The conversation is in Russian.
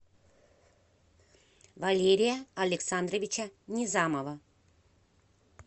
валерия александровича низамова